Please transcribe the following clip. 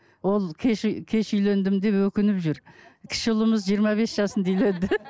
ол кеш ы кеш үйлендім деп өкініп жүр кіші ұлымыз жиырма бес жасында үйленді